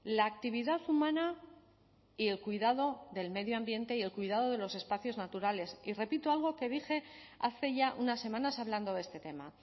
la actividad humana y el cuidado del medio ambiente y el cuidado de los espacios naturales y repito algo que dije hace ya unas semanas hablando de este tema